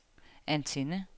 antenne